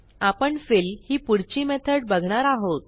आपण फिल ही पुढची मेथड बघणार आहोत